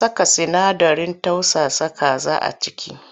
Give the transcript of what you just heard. An saka sinadarin tausasa kaza a ciki?